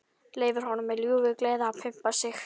Leyfir honum með ljúfu geði að pumpa sig.